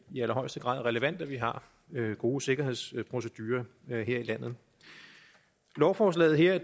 i allerhøjeste grad relevant at vi har gode sikkerhedsprocedurer her i landet lovforslaget her